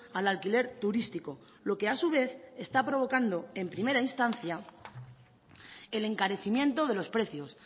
al alquiler turístico lo que a su vez está provocando en primera instancia el encarecimiento de los precios